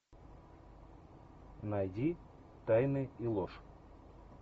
найди тайны и ложь